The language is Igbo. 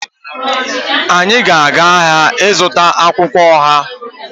Anyị ga-aga ahịa ịzụta akwụkwọ ọha